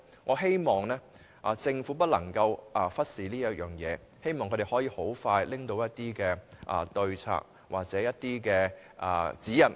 我希望政府不要忽視這方面的事宜，並盡快提出可供商業機構遵從的對策或指引。